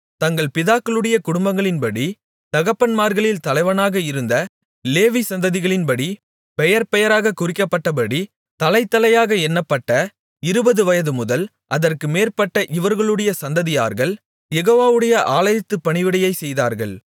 தங்கள் பிதாகளுடைய குடும்பங்களின்படி தகப்பன்மார்களில் தலைவனாக இருந்த லேவி சந்ததிகளின்படி பெயர்பெயராக குறிக்கப்பட்டபடி தலைதலையாக எண்ணப்பட்ட இருபது வயதுமுதல் அதற்கு மேற்பட்ட இவர்களுடைய சந்ததியார்கள் யெகோவாவுடைய ஆலயத்துப் பணிவிடையைச் செய்தார்கள்